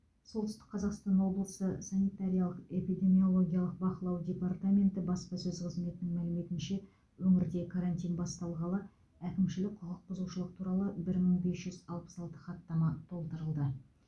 солтүстік қазақстан облысы санитариялық эпидемиологиялық бақылау департаменті баспасөз қызметінің мәліметінше өңірде карантин басталғалы әкімшілік құқықбұзушылық туралы бір мың бес жүз алпыс алты хаттама толтырылды